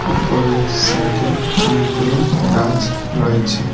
পরের সাইটে অনেকগুলো গাছ রয়েছে।